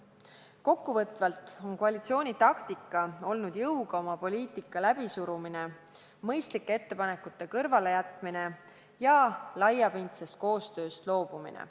Kokkuvõtvalt on koalitsiooni taktika olnud jõuga oma poliitika läbisurumine, mõistlike ettepanekute kõrvalejätmine ja laiapindsest koostööst loobumine.